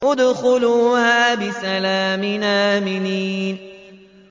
ادْخُلُوهَا بِسَلَامٍ آمِنِينَ